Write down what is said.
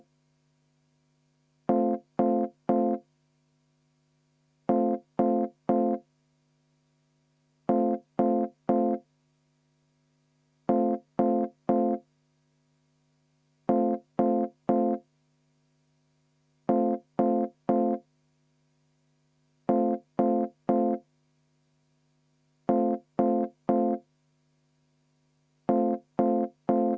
V a h e a e g